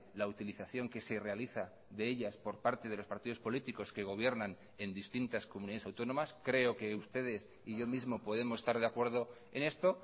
la utilización que se realiza de ellas por parte de los partidos políticos que gobiernan en distintas comunidades autónomas creo que ustedes y yo mismo podemos estar de acuerdo en esto